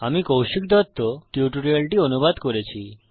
আমি কৌশিক দত্ত টিউটোরিয়ালটি অনুবাদ করেছি